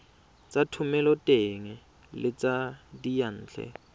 tsa thomeloteng le tsa diyantle